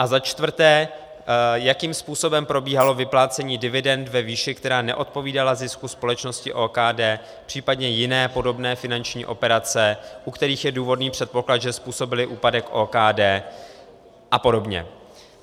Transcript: A za čtvrté - jakým způsobem probíhalo vyplácení dividend ve výši, která neodpovídala zisku společnosti OKD, případně jiné podobné finanční operace, u kterých je důvodný předpoklad, že způsobily úpadek OKD a podobně.